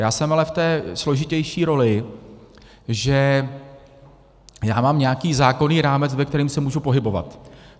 Já jsem ale v té složitější roli, že já mám nějaký zákonný rámec, ve kterém se můžu pohybovat.